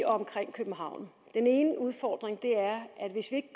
og omkring københavn den ene udfordring er at hvis ikke